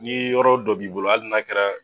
Ni yɔrɔ dɔ b'i bolo hali n'a kɛra.